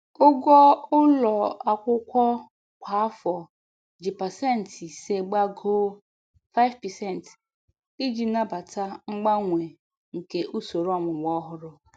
Ụgwọ ụlọ akwụkwọ kwa afọ ji pasentị ise gbagoo (5%) iji nabata mgbanwe nke usoro ọmụmụ ọhụrụ.